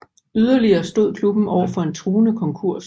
Yderligere stod klubben overfor en truende konkurs